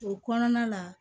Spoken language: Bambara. O kɔnɔna na